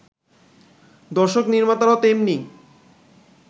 দর্শক-নির্মাতারাও তেমনি